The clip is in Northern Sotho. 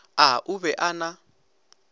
a o be a na